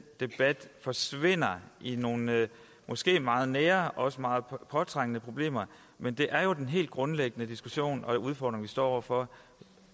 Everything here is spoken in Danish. debat forsvinder i nogle måske meget nære og meget påtrængende problemer men det er jo den helt grundlæggende diskussion og udfordring vi står over for